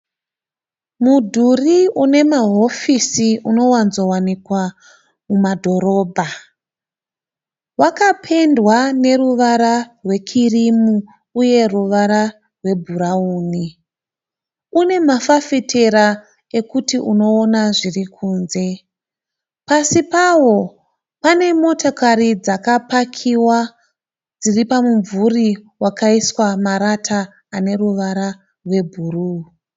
Mudhuri une mahofisi unowanzowanikwa mumadhorobha. Wakapendwa neruvara rwekirimu uye ruvara rwebhurawuni. Une mafafitera ekuti unoona zviri kunze. Pasi pawo pane motokari dzakapakiwa dziri pamumvuri wakaiswa marata ane ruvara rwebhuruu.